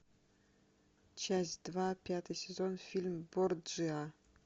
часть два пятый сезон фильм борджиа